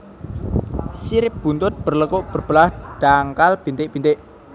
Sirip buntut berlekuk berbelah dangkal bintik bintik